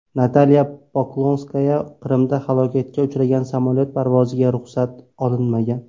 Natalya Poklonskaya: Qrimda halokatga uchragan samolyot parvoziga ruxsat olinmagan.